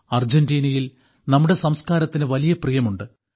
അർജന്റീനയിൽ നമ്മുടെ സംസ്കാരത്തിന് വലിയ പ്രിയമുണ്ട്